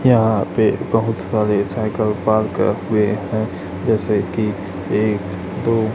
यहां पे बहोत सारे सायकल पार्क किए हुए हैं जैसे कि एक दो--